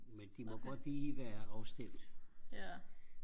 men de må godt lige være afstemt